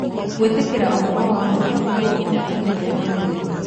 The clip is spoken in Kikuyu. Gwĩtĩkĩra ũhoro wa ma nĩguo ũhootani ũrĩa mũnene